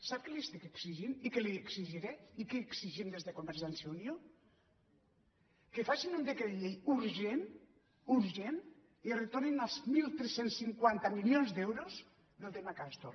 sap què li estic exi·gint i què li exigiré i què exigim des de convergència i unió que facin un decret llei urgent urgent i retor·nin els tretze cinquanta milions d’euros del tema castor